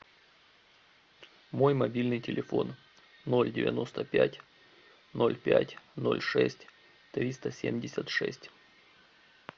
мой мобильный телефон ноль девяносто пять ноль пять ноль шесть триста семьдесят шесть